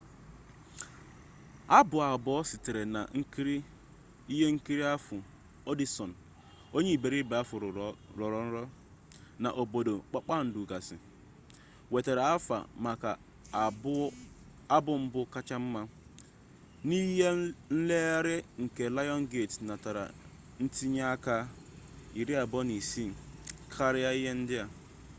abụ abụọ sitere n’ihenkiri ahụ ọdishọn onye iberibe ahu rọrọ nrọ na obodo kpakpandu gasị nwetara aha maka abụ mbụ kacha mma. n’ihe nlere nke lionsgate natara ntinye aka 26 — karia ihe ndi a